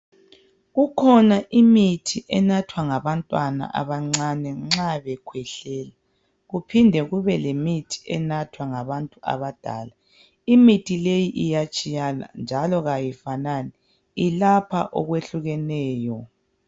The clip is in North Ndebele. Kukhona imithi enathwa ngabantwana abancane nxa bekhwehlela. Kuphinde kube lemithi enathwa ngabantu abadala. Imithi leyi iyatshiyana njalo kayifanani yelapha okwehlukeneyo.